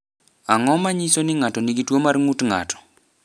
Ang’o ma nyiso ni ng’ato nigi tuwo mar ng’ut ng’ato?